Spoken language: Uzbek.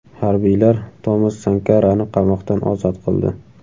Harbiylar Tomas Sankarani qamoqdan ozod qildi.